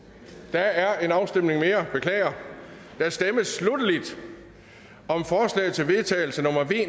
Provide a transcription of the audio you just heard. der er en afstemning mere beklager der stemmes sluttelig om forslag til vedtagelse nummer v